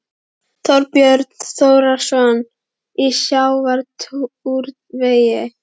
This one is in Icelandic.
Þorbjörn Þórðarson: Í sjávarútvegi?